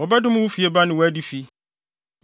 Wɔbɛdome wo fieba ne wo adifi.